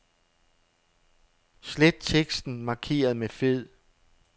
Slet teksten markeret med fed.